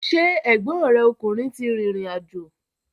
Ṣé ẹ̀gbọ́n rẹ ọkùnrin ti rìrìn àjò?